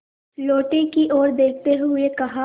लोटे की ओर देखते हुए कहा